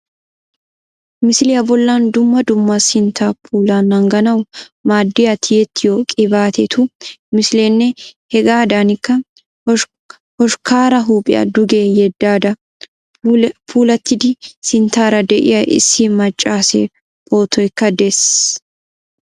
Misiliya bollan dumma dumma sinttaa puulaa naaganawu maaddiya tiyettiyo qibaatetu misileenne hegaadankka hoshkkaara huuphiya duge yeddada puulattidi sinttaara de"iya issi maaccaasee pootoykja dees